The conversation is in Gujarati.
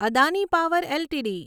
Adani power LTD